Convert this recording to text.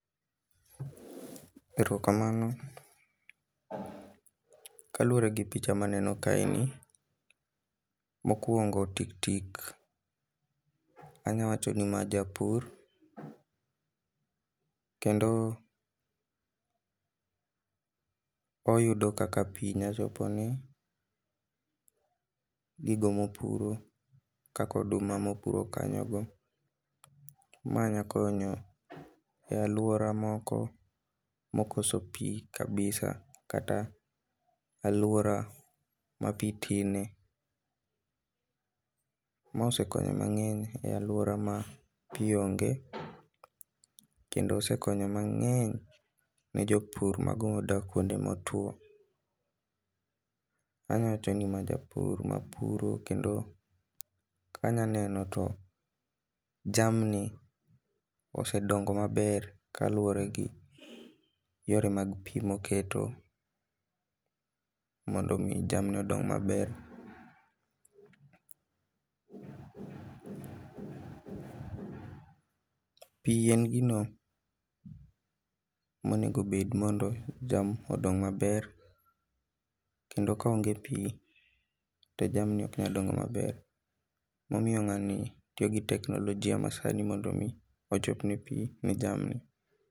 Erokamano, kaluore gi picha maneno ka ni mokuongo tik tik, anya wacho ni ma japur kendo oyudo kaka pii nya chopone gigo mopuro kaka oduma mopuro kanyo go. Ma nya konyo e aluora moko mokoso pii kabisa kata aluora ma pii tine. Ma osekonyo mang'eny e aluora ma pii onge kendo osekonyo mang'eny ne jopur mago modak kuonde motuo. Anya wacho ni ma japur mapuro kendo kanya neno to jamni osedongo maber kaluore gi yore mag pii moketo mondo mi jamni odong maber. Pii en gino monego obed mondo jamni odong maber kendo ka onge pii to jamni ok nyal dongo maber, momiyo ng'ani tiyo gi teknolojia masani mondo mi ochopne pii ne jamni